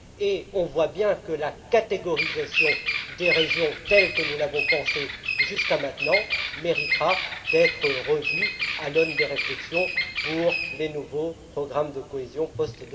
Il est clair que la catégorisation des régions, telle que nous l'avons pensée jusqu'à maintenant, méritera d'être revue à l'aune de réflexions sur les nouveaux programmes de cohésion post